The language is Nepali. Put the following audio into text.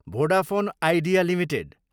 Vodafone Idea Ltd